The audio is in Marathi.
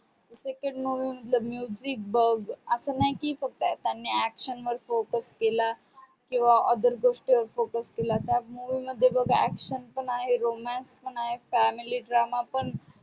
second movie मधल music अस नाही की करताणी फक्त action focus केला किवा other गोष्टी वर focus केला त्या movie मध्ये बग action पण आहे romance पण आहे family drama पण